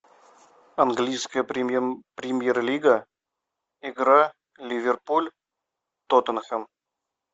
английская премьер лига игра ливерпуль тоттенхэм